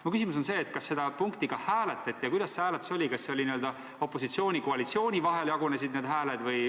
Minu küsimus on selline: kas seda punkti ka hääletati ning kuidas hääled opositsiooni ja koalitsiooni vahel jagunesid?